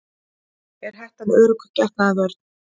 Er hettan örugg getnaðarvörn?